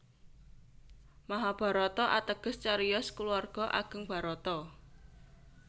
Mahabharata ateges cariyos kulawarga ageng Bharata